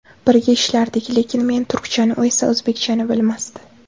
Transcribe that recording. Birga ishlardik, lekin men turkchani, u esa o‘zbekchani bilmasdi.